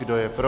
Kdo je pro?